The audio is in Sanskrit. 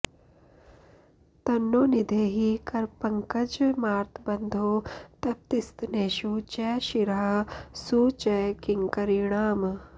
तन्नो निधेहि करपङ्कजमार्तबन्धो तप्तस्तनेषु च शिरःसु च किङ्करीणाम्